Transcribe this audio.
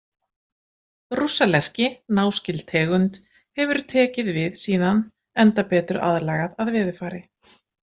Rússalerki, náskyld tegund, hefur tekið við síðan enda betur aðlagað að veðurfari.